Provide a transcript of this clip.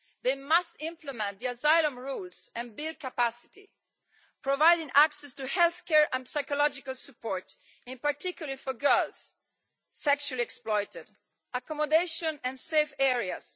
They must implement the asylum rules and build capacity, providing access to health care and psychological support, in particular for girls sexually exploited accommodation and safe areas